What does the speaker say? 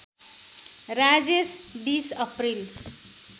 Rajesh २० April